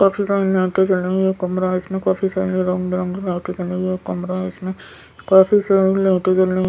काफी सारी लाइटे जल रही हैं ये कमरा है इसमें काफी सारी रंग-बिरंगे लाइटे जल रही हैं ये कमरा है इसमें काफी सारी लाइटे जल रही हैं।